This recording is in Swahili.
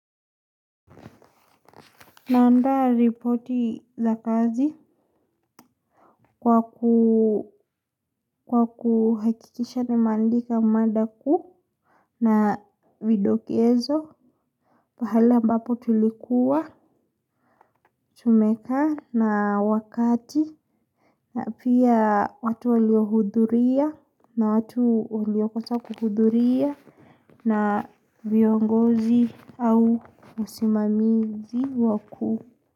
Naanda ripoti za kazi kwa kuhakikisha nimeandika mada kuu na vidokezo pahala ambapo tulikuwa tumekaa na wakati na pia watu waliohudhuria na watu waliokosa kuhudhuria na viongozi au usimamizi waku.